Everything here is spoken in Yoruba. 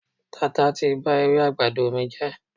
Tata ti ba ewé àgbàdo mi jẹ́.